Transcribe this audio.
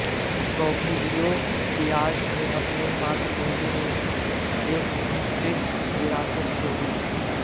Porfirio Diaz ने अपने मातृभूमि में एक मिश्रित विरासत छोड़ी